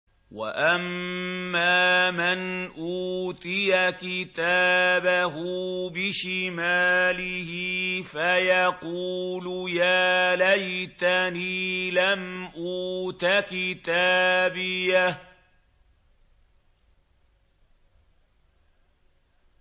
وَأَمَّا مَنْ أُوتِيَ كِتَابَهُ بِشِمَالِهِ فَيَقُولُ يَا لَيْتَنِي لَمْ أُوتَ كِتَابِيَهْ